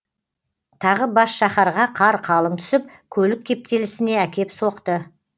тағы бас шаһарға қар қалың түсіп көлік кептелісіне әкеп соқты